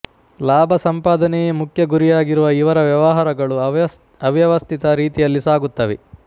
ಲಾಭಸಂಪಾದನೆಯೇ ಮುಖ್ಯ ಗುರಿಯಾಗಿರುವ ಇವರ ವ್ಯವಹಾರಗಳು ಅವ್ಯವಸ್ಥಿತ ರೀತಿಯಲ್ಲಿ ಸಾಗುತ್ತವೆ